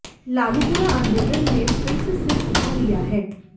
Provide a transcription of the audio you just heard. लालूपुरा आंदोलन ने फिर से सिर उठा लिया है